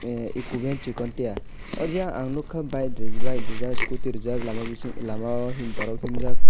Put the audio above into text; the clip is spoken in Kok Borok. tei ekomean chikon tia aw jia ang nugkha bike reejak scooty reejak lama bising lama o borok himjak.